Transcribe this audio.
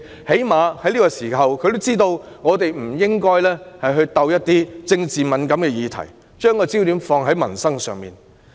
她最少也知道我們在這個時候不應觸及一些政治敏感的議題，而應把焦點放在民生。